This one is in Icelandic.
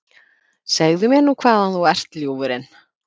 Segðu mér nú hvaðan þú ert, ljúfurinn?